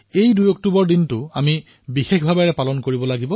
২ October বিশেষ দিন হিচাপে পালন কৰো আহক